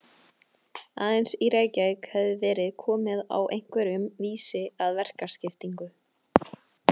Aðeins í Reykjavík hafði verið komið á einhverjum vísi að verkaskiptingu.